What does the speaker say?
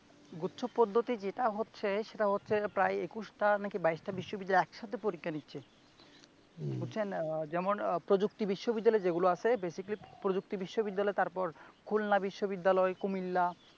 গুচ্ছ পদ্ধতি যেটা হচ্ছে সেটা হচ্ছে প্রায় একুশটা নাকি বাইশটা বিশ্ববিদ্যালয় একসাথে পরীক্ষা দিচ্ছে বুজছেন যেমন আহ প্রযুক্তি বিশ্ববিদ্যালয় যেগুলো আছে basically প্রযুক্তি বিশ্ববিদ্যালয় তারপর খুলনা বিশ্ববিদ্যালয় কুমিল্লা